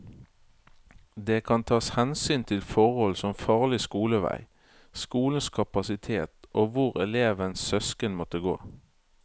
Det kan tas hensyn til forhold som farlig skolevei, skolenes kapasitet og hvor elevens søsken måtte gå.